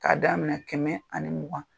K'a' daminɛ kɛmɛ ani ni mugan.